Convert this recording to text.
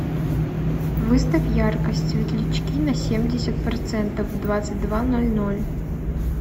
выставь яркость светлячки на семьдесят процентов в двадцать два ноль ноль